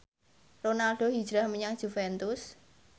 Ronaldo hijrah menyang Juventus